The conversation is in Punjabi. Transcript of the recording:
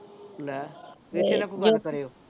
ਲੈ